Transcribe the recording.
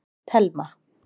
Telma